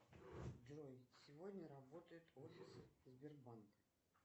джой сегодня работает офис сбербанка